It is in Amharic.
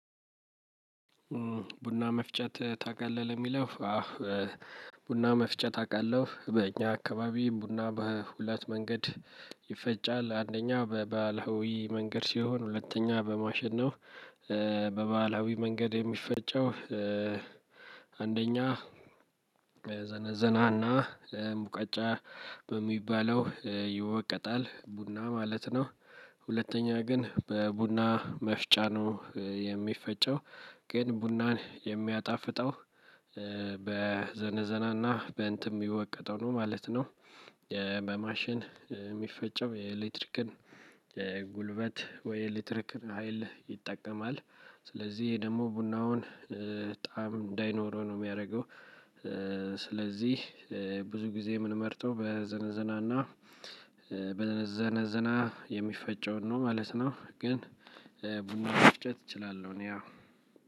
ቡና መፍጨት ታቃለህ ለሚለው? ቡና መፍጨት አውቃለሁ በእኛ አካባቢ ቡና በሁለት መንገድ ይፈጫል አንደኛው በባህላዊ መንገድ ሲሆን ሁለተኛ በማሸነው በባህላዊ መንገድ የሚፈጨው አንደኛ ዘነዘና ና ሙቀጫ በሚባለው ይወቀጣል ቡና ማለት ነው። ሁለተኛ ግን በቡና መፍጫ ነው የሚፈጨው ግን ቡናን የሚያጣፍጠው በዘነዘናና በእንትም የሚወቀጠው ነው ማለት ነው። በማሽን የሚፈጨው የኤሌክትሪክን የጉልበት ወይ ኤሌክትሪክን ሀይል ይጠቀማል። ስለዚህ ደግሞ ቡናውን ጣዕም እንዳይኖረው ነው የሚያደርገው። ስለዚህ ብዙ ጊዜ የምንመርጠው በዘነዘናና በዘነዘና የሚፈጨውን ነው ማለት ነው። ግን ቡና መፍጨት እችላለሁ እኔ አወ።